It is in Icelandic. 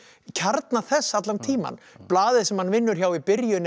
kjarna þess allan tímann blaðið sem hann vinnur hjá í byrjun er